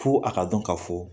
Fo a ka dɔn k'a fo